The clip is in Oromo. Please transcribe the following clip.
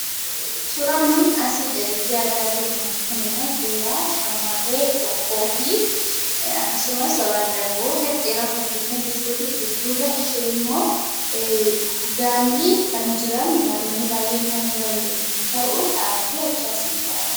Suuraan nuti asii gaditti argaa jirrummoo suuraa shamarree tokkoo fi akkasumas wandaboo gadi dheeraa uffattee kan jirtuu fi duuba ishee immoo gaalli kan jiran gaalonni baay'een kan jiran yemmuu ta'uu dhaabbattee achii as nu ilaalti.